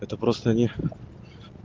это просто не